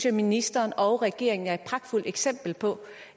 at ministeren og regeringen er pragtfulde eksempler på